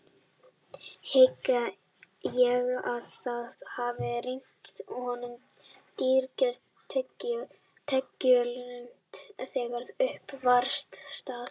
Hygg ég að það hafi reynst honum drýgri tekjulind þegar upp var staðið.